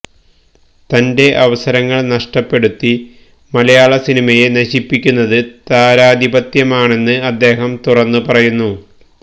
തന്റെ അവസരങ്ങള് നഷ്ടപ്പെടുത്തി മലയാള സിനിമയെ നശിപ്പിക്കുന്നത് താരാധിപത്യമാണെന്ന് അദ്ദേഹം തുറന്നുപറഞ്ഞു